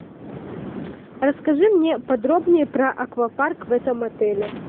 расскажи мне подробнее про аквапарк в этом отеле